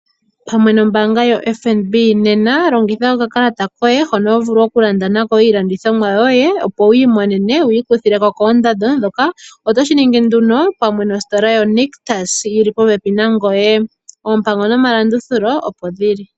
Pamwe nombaanga yoFNB nena longitha okakalata koye hono ho vulu okulanda nako iilandithomwa yoye opo wiimonene wiikuthileko koondando dhoka, otoshiningi nduno pamwe nostola yo Nictus yili popepi nangoye. Oompango nomalandulathano opo dhili.